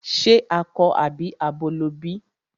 Ṣe akọ àbí abo ló bí?